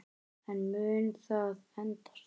En mun það endast?